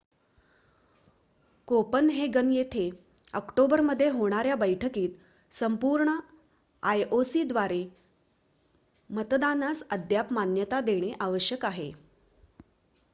Copenhagen येथे ऑक्टोबरमध्ये होणाऱ्या बैठकीत संपूर्ण आयओसीद्वारे मतदानास अद्याप मान्यता देणे आवश्यक आहे